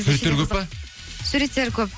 суреттері көп пе суреттері көп